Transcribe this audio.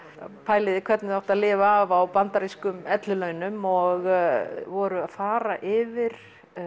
að pæla í því hvernig þau áttu að lifa af á bandarískum ellilaunum og voru að fara yfir